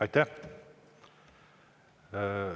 Aitäh!